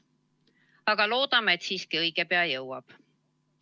Aga loodame, et see õige pea jõuab.